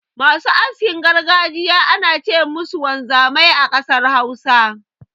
Masu askin gargajiya ana ce musu wanzamai a ƙasar Hausa.